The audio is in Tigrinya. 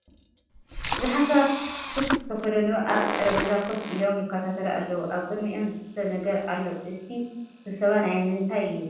ብዙሓት ሰባት ሱፍ ዝተከደኑ ኣብ ጠረጴዛ ኮፍ ኢሎም ይከታተሉ ኣለዉ ኣብ ቅድሚኦም ዝስተ ነገር ኣሎ ። እቲ ስብሰባ ናይ ምንታይ እዩ ?